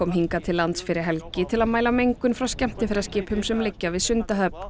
hingað til lands fyrir helgi til að mæla mengun frá skemmtiferðaskipum sem liggja við Sundahöfn